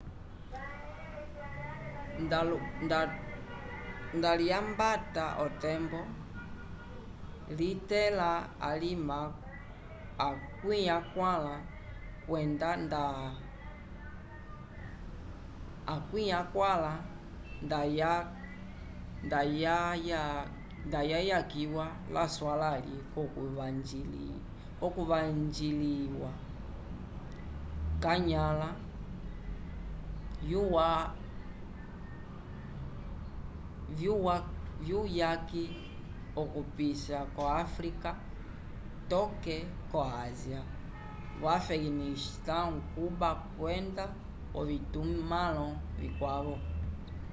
nda lyambata otembo litẽla alima 40 kwenda ndayayakiwa laswalãli l'okuvanjiliwa k'anyãla vyuyaki okupisa vo áfrica toke ko ásia vo afeganistão cuba kwenda ovitumãlo vikwavo